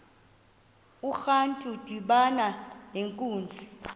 urantu udibana nenkunzi